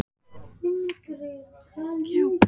Í efri gluggum kirkjunnar koma fyrir tákn píslarsögunnar.